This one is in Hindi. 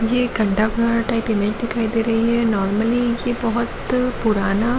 ये गंडा घाट प टाइप इमेज दिखाई दे रही है नॉर्मली ये बहुत पुराना--